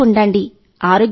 ఇంట్లో ఉండండి